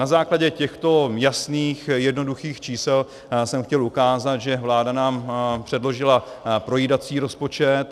Na základě těchto jasných jednoduchých čísel jsem chtěl ukázat, že vláda nám předložila projídací rozpočet.